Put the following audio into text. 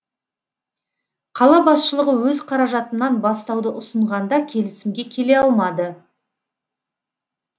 қала басшылығы өз қаражатынан бастауды ұсынғанда келісімге келе алмады